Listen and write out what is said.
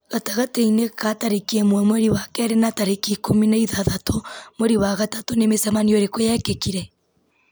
gatagatĩ-inĩ ka tarĩki ĩmwe mweri wa kerĩ na tarĩki ikũmi na ithatatũ mweri wa gatatũ nĩ mĩcemanio ĩrĩkũ yekĩkire